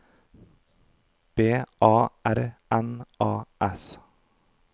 B A R N A S